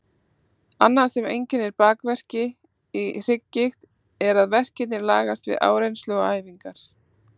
Annað sem einkennir bakverki í hrygggigt er að verkirnir lagast við áreynslu og æfingar.